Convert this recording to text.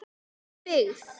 Í byggð